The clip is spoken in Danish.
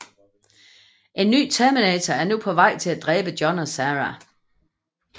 En ny Terminator er nu på vej for at dræbe John og Sarah